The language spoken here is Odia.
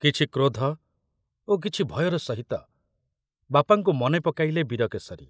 କିଛି କ୍ରୋଧ ଓ କିଛି ଭୟର ସହିତ ବାପାଙ୍କୁ ମନେ ପକାଇଲେ ବୀରକେଶରୀ।